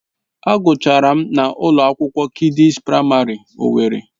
Agụchara m na ụlọ akwụkwọ Kidịs Praịmarị owerri.